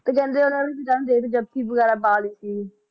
ਤੇ ਜਾਦੇ ਉਹਨਾ ਦੇਖ ਕੇ ਜੱਫ਼ੀ ਵਗੈਰਾ ਪਾ ਲਈ ਸੀ